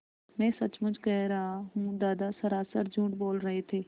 मैं सचमुच कह रहा हूँ दादा सरासर झूठ बोल रहे थे